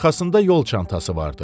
Arxasında yol çantası vardı.